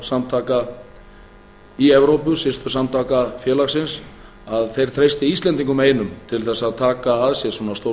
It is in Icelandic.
stórra björgunarsamtaka í evrópu systursamtaka félagsins að þau treysti íslendingum einum til að taka að sér svona stór